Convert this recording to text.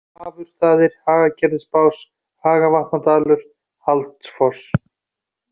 Hafurstaðir, Hagagerðisbás, Hagavatnadalur, Haldsfoss